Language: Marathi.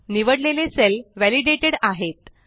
निवड लेले सेल वॅलिडेटेड आहेत